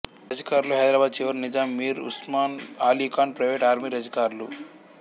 రజాకార్లు హైదరాబాద్ చివరి Nizam Mir Osman Ali Khan private army రజాకార్లు